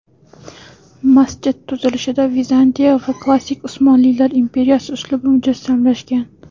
Masjid tuzilishida Vizantiya va klassik Usmonlilar imperiyasi uslubi mujassamlashgan.